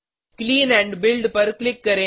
clean and build पर click करें